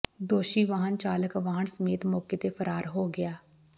ਦੋਸ਼ੀ ਵਾਹਨ ਚਾਲਕ ਵਾਹਨ ਸਮੇਤ ਮੋਕੇ ਤੇ ਫਰਾਰ ਹੋ ਗਿਆ